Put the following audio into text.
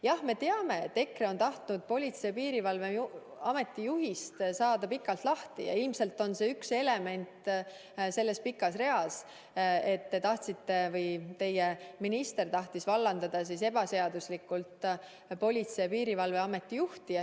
Jah, me teame, et EKRE on juba pikalt tahtnud Politsei- ja Piirivalveameti juhist lahti saada, ja ilmselt on see üks element selles pikas reas, et teie minister tahtis ebaseaduslikult vallandada Politsei- ja Piirivalveameti juhti.